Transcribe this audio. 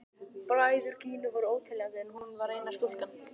Bræður Gínu voru óteljandi en hún var eina stúlkan.